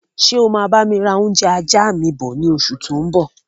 Ṣé o máa bami ra oúnjẹ ajá mi bọ̀ ni oṣù tó ń bọ̀?